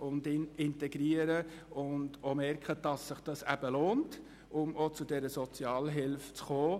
sie sollen sich engagieren und sich integrieren, um in den Genuss dieser Sozialhilfe zu kommen.